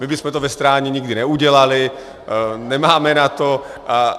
My bychom to ve Strání nikdy neudělali, nemáme na to.